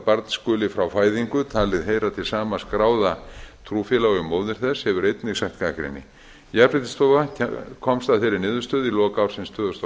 barn skuli frá fæðingu talið heyra til sama skráða trúfélags og móðir þess hefur einnig sætt gagnrýni jafnréttisstofa komst að þeirri niðurstöðu í lok ársins tvö þúsund og